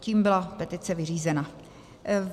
Tím byla petice vyřízena.